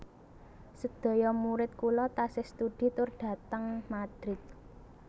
Sedaya murid kula tasih studi tur dhateng Madrid